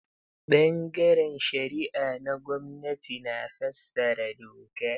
Ɓangaren shari'a na gwamnati na fassara doka.